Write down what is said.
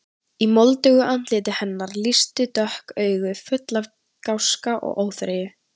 Í moldugu andliti hennar lýstu dökk augu, full af gáska og óþreyju.